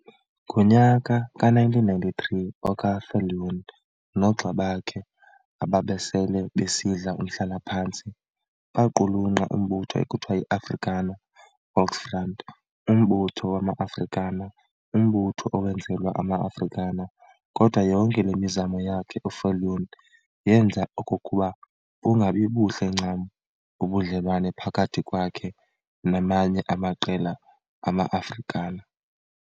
Ngonyaka ka-1993 oka-Viljoen noogxa bakhe ababesele besidla umhlala-phantsi baqhulunqa umbutho ekuthiwa yi-Afrikaner Volksfront Umbutho wama-Afrikaner, umbutho owenzelwa ama-Afrikaner. Kodwa yonke le mizamo yakhe uViljoen yenza okokuba bungabibuhle ncam ubudlelwane phakathi kwakhe namanye amaqela ama-Afrikaner.